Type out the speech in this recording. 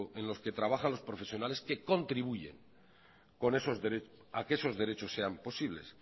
en los que trabajan los profesionales que contribuyen a que esos derechos sean posibles